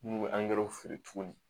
N'u bɛ angɛrɛw feere tuguni